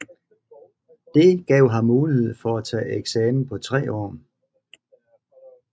Det gav ham mulighed for at tage eksamen på tre år